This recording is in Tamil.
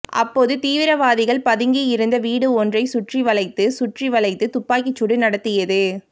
அப்போது தீவிரவாதிகள் பதுங்கியிருந்த வீடு ஒன்றை சுற்றி வளைத்து சுற்றி வளைத்து துப்பாக்கி சூடு நடத்தியது